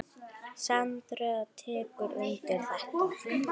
Sandra tekur undir þetta.